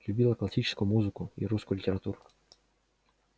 любила классическую музыку и русскую литературу